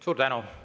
Suur tänu!